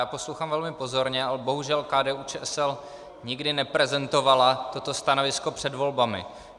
Já poslouchám velmi pozorně, ale bohužel KDU-ČSL nikdy neprezentovala toto stanovisko před volbami.